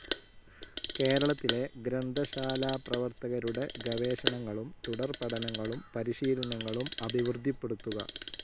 കേരളത്തിലെ ഗ്രന്ഥശാലപ്രവർത്തകരുടെ ഗവേഷണങ്ങളും തുടർപഠനങ്ങളും പരിശീലനങ്ങളും അഭിവൃദ്ധിപ്പെടുത്തുക.